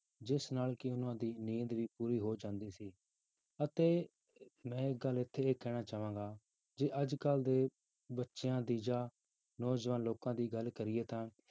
ਜਿਸ ਨਾਲ ਕਿ ਉਹਨਾਂ ਦੀ ਨੀਂਦ ਵੀ ਪੂਰੀ ਹੋ ਜਾਂਦੀ ਸੀ ਅਤੇ ਮੈਂ ਇੱਕ ਗੱਲ ਇੱਥੇ ਇਹ ਕਹਿਣਾ ਚਾਹਾਂਗਾ, ਜੇ ਅੱਜ ਕੱਲ੍ਹ ਦੇ ਬੱਚਿਆਂ ਦੀ ਜਾਂ ਨੌਜਵਾਨ ਲੋਕਾਂ ਦੀ ਗੱਲ ਕਰੀਏ ਤਾਂ